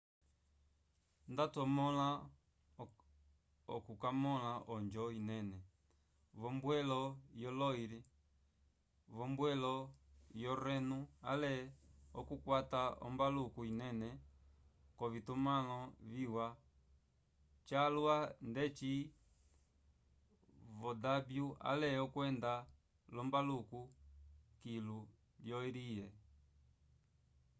ndatwamõla okukamõla onjo inene v'ombwelo yo loire v'ombwelo yo reno ale okukwata ombaluku linene k'ovitumãlo viwa calwa ndeci vo danúbio ale okwenda l'ombaluku kilu lyo erie